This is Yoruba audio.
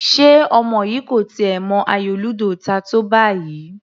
Ṣe ọmọ yìí kò tiẹ̀ mọ ayò ludo ta tó báyìí?